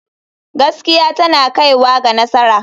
Gaskiya tana kaiwa ga nasara.